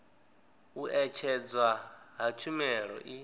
u ṅetshedzwa ha tshumelo i